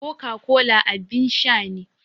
Coca-cola abin sha ne.